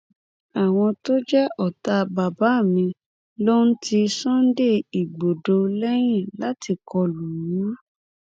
àwọn tó jẹ ọtá bàbá mi ló ń ti sunday igbodò lẹyìn láti kọ lù ú